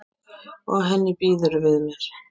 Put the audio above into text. Og henni býður við mér.